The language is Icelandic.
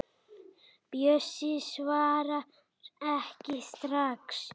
Bjössi svarar ekki strax.